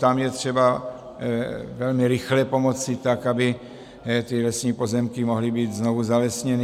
Tam je třeba velmi rychle pomoci, tak aby ty lesní pozemky mohly být znovu zalesněny.